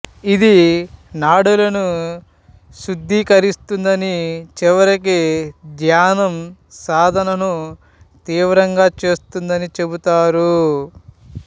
ఇది నాడులను శుద్ధీకరిస్తుందని చివరికి ధ్యానం సాధనను తీవ్రంగా చేస్తుందని చెబుతారు